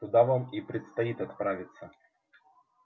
туда вам и предстоит отправиться